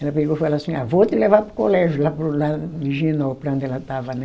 Ela pegou e falou assim, ah vou te levar para o colégio, lá para o, lá Higienópolis, onde ela estava, né?